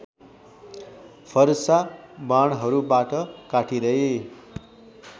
फरसा बाणहरूबाट काटिँदै